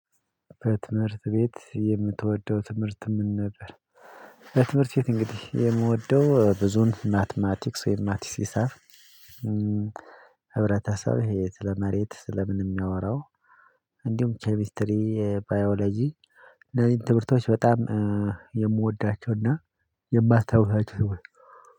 በትምህርት ቤት የምትወደው ትምህርት ምን ነበር? በትምህርት ቤት እንግዲህ የምወደው ብዙም ማትማቲክስ ወይም ማትሲሳ። ህብረተሰብ ይሄ ስለመሬት ስለምን የሚያወራው? እንዲሁም ኬሚስትሪ ባዮሎጂ። እነዚህን ትምህርቶች በጣም የምወዳቸው የማስታውሳቸው።